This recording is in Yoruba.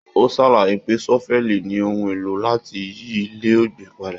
O sàlàyé pé sọ́fẹ̀lí ní ohùn èlò láti yí ilẹ̀ ọgbin padà.